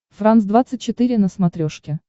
франс двадцать четыре на смотрешке